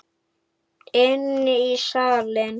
Inn í salinn.